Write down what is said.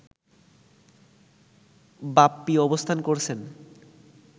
বাপ্পী অবস্থান করছেন